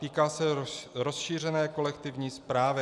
Týká se rozšířené kolektivní správy.